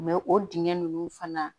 o dingɛn nunnu fana